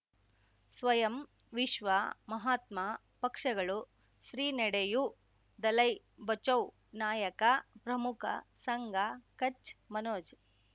ಸ್ವಯಂ ವಿಶ್ವ ಮಹಾತ್ಮ ಪಕ್ಷಗಳು ಶ್ರೀ ನಡೆಯೂ ದಲೈ ಬಚೌ ನಾಯಕ ಪ್ರಮುಖ ಸಂಘ ಕಚ್ ಮನೋಜ್